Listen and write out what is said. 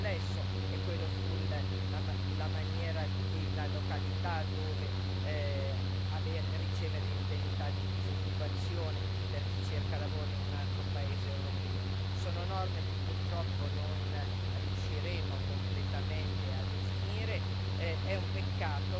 in discussione complesso è quello sulla maniera e la località dove ricevere l'indennità di disoccupazione per chi cerca lavoro in un altro paese europeo sono norme che purtroppo non riusciremo completamente a definire.